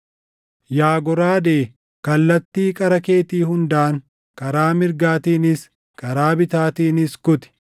Yaa goraadee, kallattii qara keetii hundaan karaa mirgaatiinis, karaa bitaatiinis kuti.